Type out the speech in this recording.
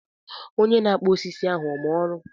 Onye na-akpụ osisi ahụ ọ ma ọrụ?